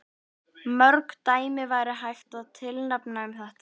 Mörg dæmi væri hægt að tilnefna um þetta.